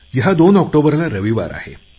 या दोन ऑक्टोबरला रविवार आहे